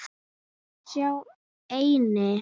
Sá eini.